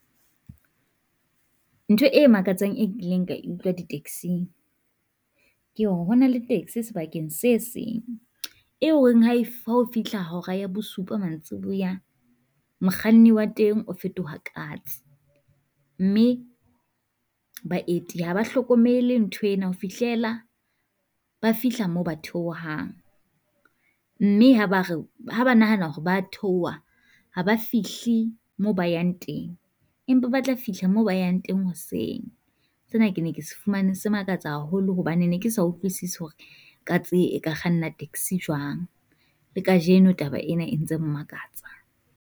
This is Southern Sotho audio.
Ntho e makatsang e kileng ka e utlwa di tax-ing, ke ho bona le taxi sebakeng se seng, eo eng ha e ha o fihla hora ya bosupa mantsiboya mokganni wa teng o fetoha katse. Mme baeti ha ba hlokomele ntho ena ho fihlela ba fihla moo ba theohang, mme ha ba re ha ba nahana hore ba theoha ha ba fihle moo ba yang teng. Empa ba tla fihla moo ba yang teng hoseng, se na ke ne ke sefumane se makatsa haholo hobane ne ke sa utlwisise hore katse e ka kganna taxi jwang. La kajeno Taba ena e ntse mmakatsa.